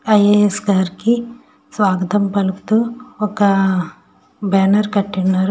IAS గారికి స్వాగతం పలుకుతూ ఒక బ్యానర్ కట్టి ఉంచారు.